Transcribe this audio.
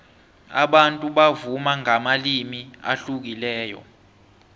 abantu bavuma ngamalimi ahlukileko